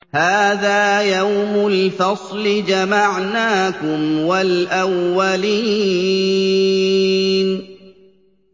هَٰذَا يَوْمُ الْفَصْلِ ۖ جَمَعْنَاكُمْ وَالْأَوَّلِينَ